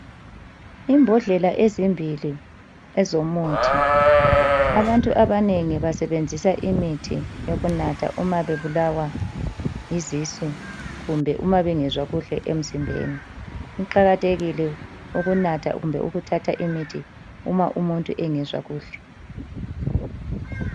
Imbodlela ezimbili ezomuthi. Abantu abanengi basebenzisa imithi yokunatha uma bebulawa yizisu kumbe uma bengezwa kuhle emzimbeni. Kuqakathekile ukunatha kumbe ukuthatha imithi uma umuntu engezwa kuhle.